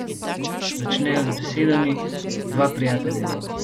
Začne jo z besedami: "Dva prijatelja imam.